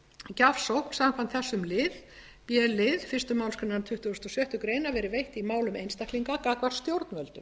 gjafsókn samkvæmt þessum lið b lið fyrstu málsgrein tuttugustu og sjöttu grein verið veitt í málum einstaklinga gagnvart stjórnvöldum